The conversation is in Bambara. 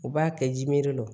U b'a kɛ jimere de don